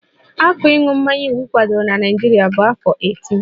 Afọ ịṅụ mmanya iwu kwadoro na Naịjirịa bụ afọ 18